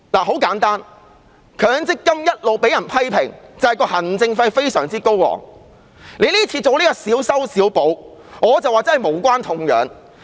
很簡單，強積金一直被批評行政費非常高昂，政府這次進行小修小補，我覺得無關痛癢。